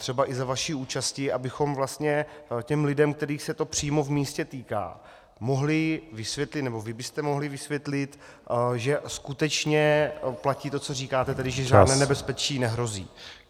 Třeba i za vaší účasti, abychom vlastně těm lidem, kterých se to přímo v místě týká, mohli vysvětlit, nebo vy byste mohli vysvětlit, že skutečně platí to, co říkáte, tedy že žádné nebezpečí nehrozí.